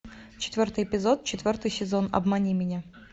четвертый эпизод четвертый сезон обмани меня